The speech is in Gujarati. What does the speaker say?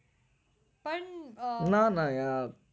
હમ ના ના યાર